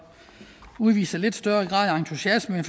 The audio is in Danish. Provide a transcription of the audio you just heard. udvise en lidt større grad af entusiasme